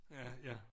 Ja ja